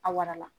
A warala